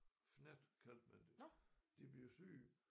Fnat kaldte man det de blev syge